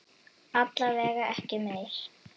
Alla vega ekki meir.